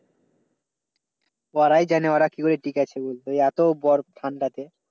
ওরাই জানে ওরা কি করে ঠিকে আছে। এত বরফ ঠান্ডা যে,